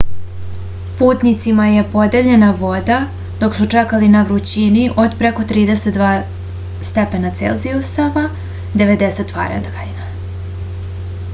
путницима је подељена вода док су чекали на врућини од преко 32 °c степена 90 °f